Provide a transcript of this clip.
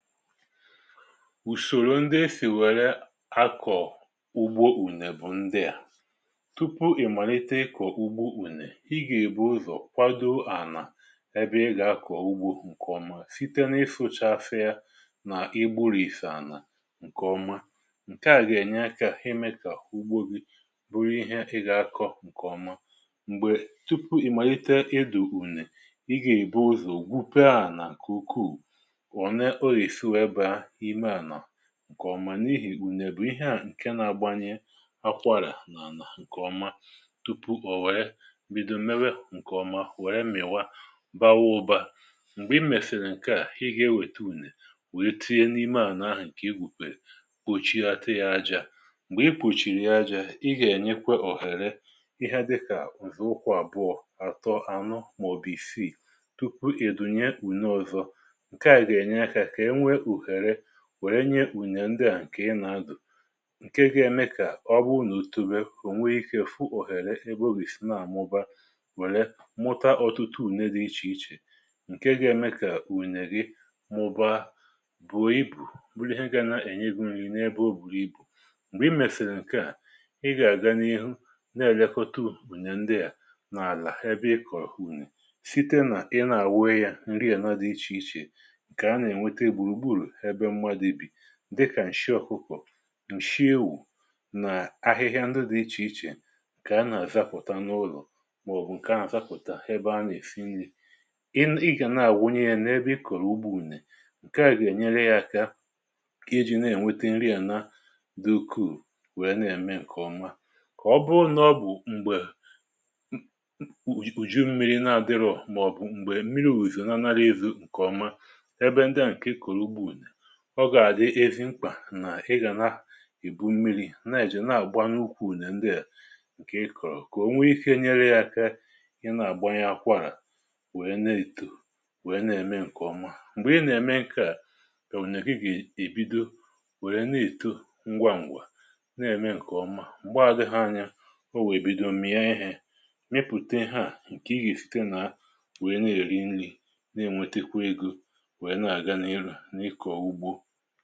Ùsòrò ndị e sìwèrè akọ̀ ugbo ùnè bụ̀ ndị à. Tupu ị̀ màlite ịkọ̀ ugbo ùnè, i gà-èbu ụzọ̀ kwadoo à nà ebe ị gà-akọ̀ ugbo ǹkè ọma, site na ịfụ̇cha afe ya nà ịgbụ̇rìfè ànà ǹkè ọma. Ǹkè à gà-ènye akȧ, heme kà ugbo bụrụ ihe ị gà-akọ̇ ǹkè ọma. M̀gbè tupu ị màlite edù ùnè, ị gà-èbu ụzọ̀ gwupie ànà ǹkè ukwuù, ọ̀ nḕ ọ́ g’esi banye ime ana ǹkè ọma, n’ihì gunne bụ̀ ihe à, ǹkè na-agbanye akwarà n’ànà ǹkè ọma tupu ò wère bido mewe ǹkè ọma, wère mị̀wa bawuo ụba. M̀gbè i mèfèrè ǹkè à, i gà-ewète ùnè, wère tinye n’ime à n’ahụ̀ ǹkè i gwùkwè ochi na ya ajȧ. M̀gbè i kpùchìrì ya ajȧ, i gà-ènyekwe òhère, ihe dịkà ụzọ ụkwụ àbụọ, àtọ, anụ, màọ̀bụ isii, tupu ị̀dụnye ùne ọzọ, ǹkè a ga enye aka ka enwe uhere wère nye n’ùnendè à nkè ị nà-adụ̀, ǹkè ga-eme kà ọ bụ n’òtù be, ò nwee ikė fụ òhèrè ebe o gìsi na-àmụba, wèrè mụta ọtụtụ ùne dị iche iche, Ǹkè ga-eme kà ùnè ghi mụba bùrù ibù, bụrụ ihe gà na-ènye gụ̇ nri n’ebe o buru ibù. M̀gbè i mèsèrè ǹkè à, ị gà-àga n’ihu, na-àyakota ùnè ndị à n’àlà ebe ị kọ̀rọ̀ unì, site nà ị na-àwe yȧ nri àna dị iche iche, ǹkè ana enweta gburugburu ebe mmadu bi, dịkà ǹshị ọkụkọ̀, ǹshị ewu̇, nà ahịhịa ndị dị̇ iche iche, nkè a nà-àzapụ̀ta n’ụlọ̀, màọbụ̀ ǹkè a nà-àzapụ̀ta ha ebe a nà-èfi nri. Ị n’igà nà-àwụnye ya n’ebe i kòrò ụgbọ unee, ǹkè a gà-ènyere ya aka, kà i ji nà-ènwete nri à na dukwu, wèe na-ème ǹkè ọma. Kà ọ bụ n’ọbụ m̀gbè ùju mmiri na-adịrọ̀, màọbụ m̀gbè mmiri ùjì nà anàrà ewu̇ ǹkè ọma, ebe ndị a nke ị kọrọ unee, ọ gàrà avi mkpà, nà ị gà na ì bu mmiri̇ na-èjì na-àgba n’ukwù nà ndị à, ǹkè ị kọ̀rọ̀, kà o nwee ike nyere ya aka i na-àgba ya akwarà, wèe na-èto, wèe na-ème ǹkè ọma. M̀gbè ị nà-ème ǹkè à, èwùnyèghi gà-èbido, wèe na-èto ngwaǹgwà, na-ème ǹkè ọma. M̀gbè adịghị anya, o wèe bido m̀mìi ehè n’epùte ha à, ǹkè ị gà-èfite nà, wèe na-èri nri, na-ènwètekwa ego, wee na aganihu na-à ikor ụgbọ̇.